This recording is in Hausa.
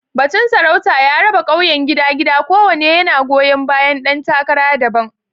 Batun sarauta ya raba ƙauyen gida-gida, kowanne yana goyon bayan ɗan takara daban.